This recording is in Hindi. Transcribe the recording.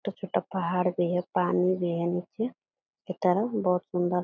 छोटा-छोटा पहाड़ भी है पानी भी है नीचे की तरफ बहुत सुन्दर --